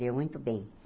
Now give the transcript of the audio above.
Deu muito bem.